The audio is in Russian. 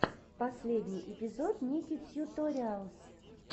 последний эпизод ники тьюториалс